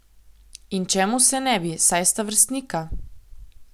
In čemu se ne bi, saj sta vrstnika.